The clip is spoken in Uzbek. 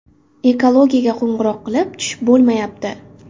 Ekologiyaga qo‘ng‘iroq qilib tushib bo‘lmayapti.